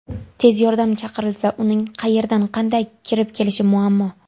Tez yordam chaqirilsa uning qayerdan, qanday kirib kelishi muammo.